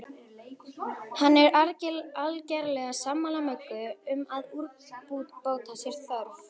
Hann er algerlega sammála Möggu um að úrbóta sé þörf.